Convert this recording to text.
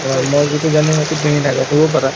আৰু মই যিটো জানিম সেইটো তুমি নাজানিবও পাৰা